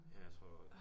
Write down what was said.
Ja jeg tror